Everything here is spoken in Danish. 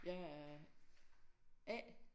Jeg er A